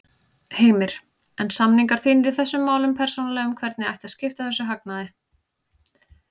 Heimir: En samningar þínir í þessum málum persónulega um hvernig ætti að skipta þessum hagnaði?